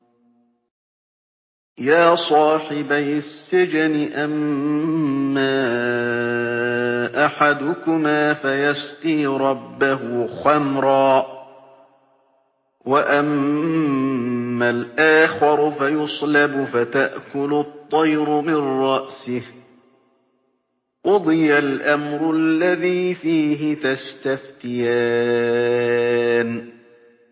يَا صَاحِبَيِ السِّجْنِ أَمَّا أَحَدُكُمَا فَيَسْقِي رَبَّهُ خَمْرًا ۖ وَأَمَّا الْآخَرُ فَيُصْلَبُ فَتَأْكُلُ الطَّيْرُ مِن رَّأْسِهِ ۚ قُضِيَ الْأَمْرُ الَّذِي فِيهِ تَسْتَفْتِيَانِ